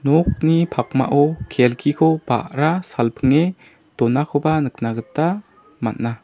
nokni pakmao kelkiko ba·ra salpinge donakoba nikna gita man·a.